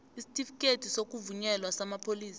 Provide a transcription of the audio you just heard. isitifikhethi sokuvunyelwa samapholisa